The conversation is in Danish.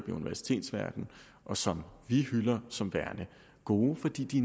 universitetsverdenen og som vi hylder som værende gode fordi de